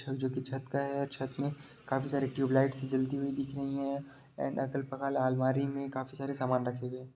छत का है छत मे काफी सारी ट्यूबलाइट्स जलती हुई दिख रही है एंड अगल बगल अलमारी मे काफी सारे सामान रखे हुए है।